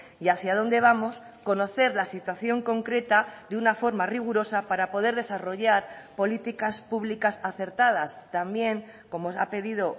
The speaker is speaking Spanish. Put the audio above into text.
y hacia dónde vamos conocer la situación concreta de una forma rigurosa para poder desarrollar políticas públicas acertadas también como se ha pedido